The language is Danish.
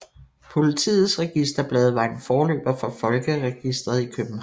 Politiets registerblade var en forløber for folkeregistret i København